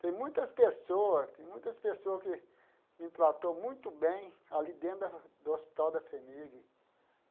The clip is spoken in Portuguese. Tem muitas pessoas, tem muitas pessoas que me tratou muito bem ali dentro da do Hospital da FHEMIG.